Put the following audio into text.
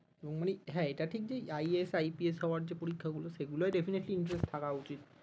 মানে এটা ঠিক যে IASIPS হবার যে পরীক্ষা গুলো সেগুলোই definitely interest থাকা উচিত